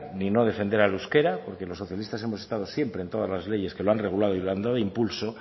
ni no defender al euskera porque los socialistas hemos estado siempre en todas las leyes que lo han regulado y lo han dado impulso